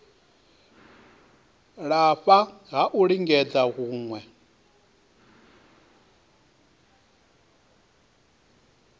lafha ha u lingedza hune